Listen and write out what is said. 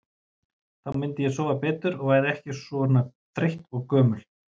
Þá myndi ég sofa betur og væri ekki svona þreytt og gömul.